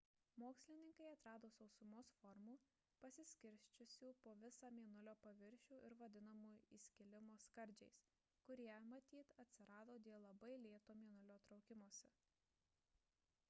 mokslininkai atrado sausumos formų pasiskirsčiusių po visą mėnulio paviršių ir vadinamų įskilimo skardžiais kurie matyt atsirado dėl labai lėto mėnulio traukimosi